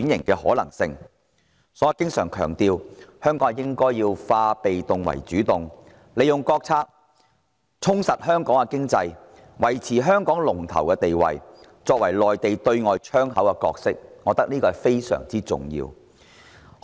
所以，我經常強調，香港應化被動為主動，利用國策充實香港的經濟，維持香港的龍頭地位，擔當內地對外窗口的角色，我認為這是非常重要的。